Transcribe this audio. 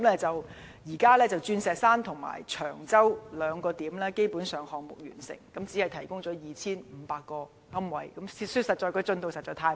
至今，鑽石山及長洲兩個地點的項目基本上已經完成，但只提供 2,500 個龕位，坦白說，進度實在太慢。